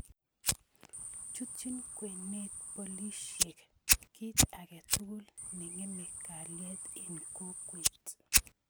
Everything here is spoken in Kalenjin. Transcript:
Chutyin kwenet booliisyek kiit ake tukul ne ng�eme kaliet eng kokweet